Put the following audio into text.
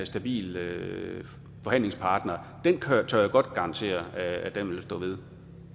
stabil forhandlingspartner tør jeg godt garantere at vi vil stå ved